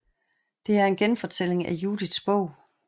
Det er en genfortælling af Judits Bog